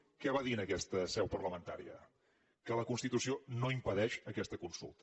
què va dir en aquesta seu parlamentària que la constitució no impedeix fer aquesta consulta